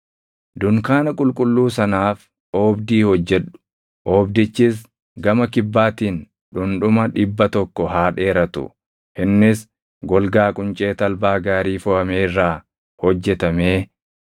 “Dunkaana qulqulluu sanaaf oobdii hojjedhu. Oobdichis gama kibbaatiin dhundhuma dhibba tokko haa dheeratu; innis golgaa quncee talbaa gaarii foʼame irraa hojjetamee